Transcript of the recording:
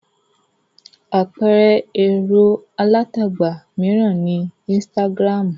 Àpẹẹrẹ ẹ̀rọ alátagbà mìíràn ni Instagram.